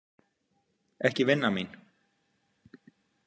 Ekki vinnan mín.